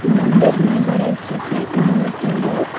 मंदिर में गणेश जी की मूर्ती है।